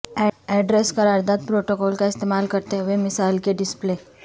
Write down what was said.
address قرارداد protocol کا استعمال کرتے ہوئے مثال کے ڈسپلے